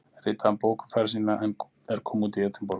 Ritaði hann bók um ferð sína er kom út í Edinborg